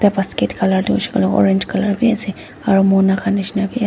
ekta basket colour tu hoishae kulae orange colour bi ase aro mona kan nishina bi ase.